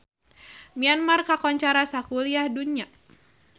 Myanmar kakoncara sakuliah dunya